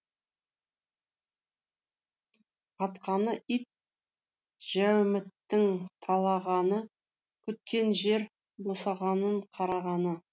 батқаны ит жәуміттің талағаны күткен жер босағаның қарағаны